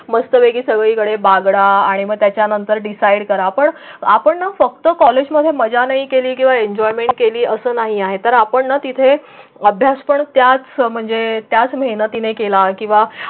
सगळीकडे बागळा आणि मग त्याच्यानंतर डिसाइड करा. पण आपण फक्त कॉलेज मध्ये मजा नाही केले किंवा एन्जॉयमेंट केली असं नाही आहे तर आपण तिथे अभ्यास पण त्याच म्हणजे त्याच मेहनतीने केला किंवा मग.